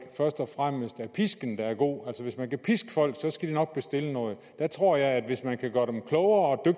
først og fremmest pisken der er god altså hvis man kan piske folk skal de nok bestille noget der tror jeg at hvis man kan gøre dem klogere